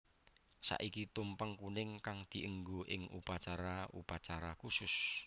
Saiki tumpeng kuning kang dienggo ing upacara upacara khusus